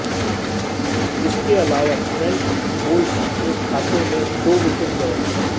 इसके अलावा Trent Boult के खाते में दो विकेट गए